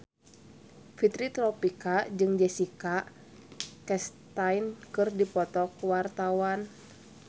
Fitri Tropika jeung Jessica Chastain keur dipoto ku wartawan